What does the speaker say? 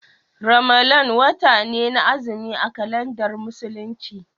Ramalan wata ne na azumi a kalandar Musulunci.